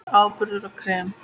Áburður og krem